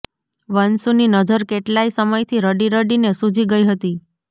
વશુંની નજર કેટલાય સમયથી રડી રડી ને સુજી ગઈ હતી